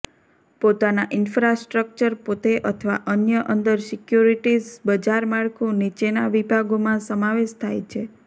પોતાના ઈન્ફ્રાસ્ટ્રક્ચર પોતે અથવા અન્ય અંદર સિક્યોરિટીઝ બજાર માળખું નીચેના વિભાગોમાં સમાવેશ થાય છે